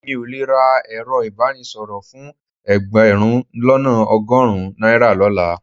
Èmi ò le ra ẹ̀rọ ìbánisọ̀rọ̀ fún ẹgbẹ̀rún lọ́nà ọgọ́rùn-ún náírà lọ́la